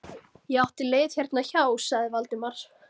Ég átti leið hérna hjá- sagði Valdimar.